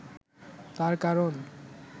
তার কারণ